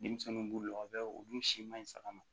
Denmisɛnnin b'u la o bɛ olu si man ɲi saga ma